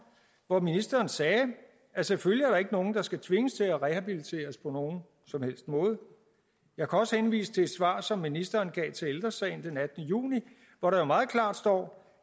hvor ministeren sagde at selvfølgelig er der ikke nogen der skal tvinges til at rehabiliteres på nogen som helst måde jeg kan også henvise til et svar som ministeren gav til ældre sagen den attende juni hvor der jo meget klart står